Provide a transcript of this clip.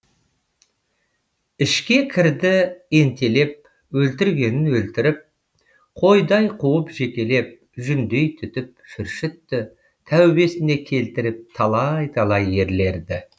ішке кірді ентелеп өлтіргенін өлтіріп қойдай қуып желкелеп жүндей түтіп шүршітті тәубесіне келтіріп талай талай ерлерді